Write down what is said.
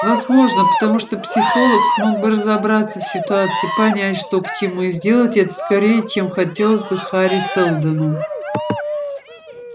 возможно потому что психолог смог бы разобраться в ситуации понять что к чему и сделать это скорее чем хотелось бы хари сэлдону